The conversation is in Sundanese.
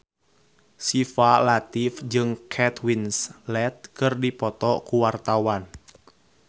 Syifa Latief jeung Kate Winslet keur dipoto ku wartawan